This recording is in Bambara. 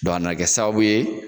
Dɔn a na kɛ sababu ye